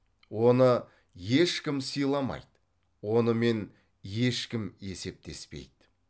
оны ешкім сыйламайды онымен ешкім есептеспейді